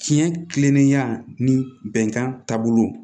Tiɲɛ kilenlenya ni bɛnkan taabolo